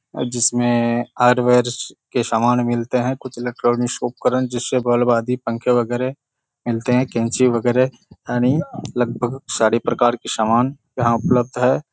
जिसमें आयुर्वेद के सामान मिलते हैं कुछ इलेक्ट्रॉनिक उपकरण जिससे बालवाड़ी पंख वगैरा मिलते हैं कैंची वगैरा यानी लगभग सारी प्रकार की समान जहाँ उपलब्ध है।